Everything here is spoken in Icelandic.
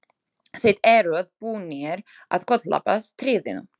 Þið eruð búnir að koltapa stríðinu!